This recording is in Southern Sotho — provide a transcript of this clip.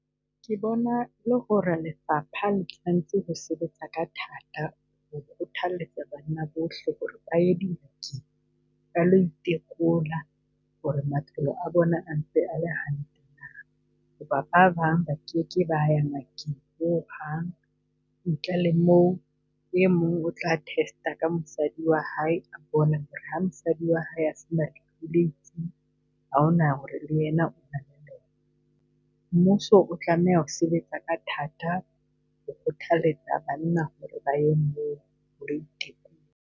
Ke bona e le ho re lefapha le tshwanetse ho sebetsa ka thata ho kgothalletsa banna bohle ho re ba ye clinic-ing, ba lo itekola ho re maphelo a bona ntse a le hantle. Ba bang ba keke ba ho hang, ntle le moo e mong o tla test-a ka mosadi wa hae, ha mosadi wa hae a se na lefu le itseng, ha hona ho re le ena . Mmuso o tlameha ho sebetsa ka thata ho kgothalletsa banna ba e moo ho lo itekola.